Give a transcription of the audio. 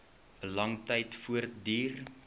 lang tyd voortduur